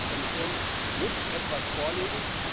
Die Kommission muss etwas vorlegen.